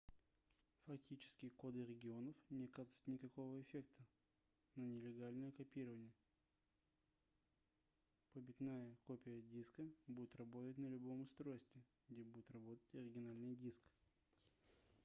фактически коды регионов не оказывают никакого эффекта на нелегальное копирование побитная копия диска будет работать на любом устройстве где будет работать оригинальный диск